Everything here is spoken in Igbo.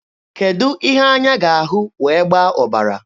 Kedụ ihe anya ga-ahụ wee gbaa ọbara?